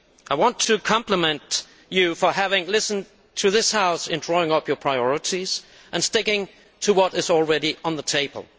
I want to compliment you on having listened to this House in drawing up your priorities, and on sticking to what is already on the table.